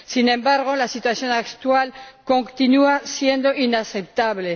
Sin embargo, la situación actual continúa siendo inaceptable.